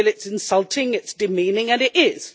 they feel it is insulting and demeaning, and it is.